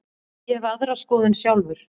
Ég hef aðra skoðun sjálfur.